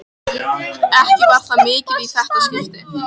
Ekki var það mikið í þetta skipti.